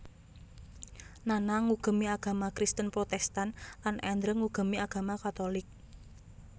Nana ngugemi agama Kristen Protestan lan Andrew ngugemi agama katolik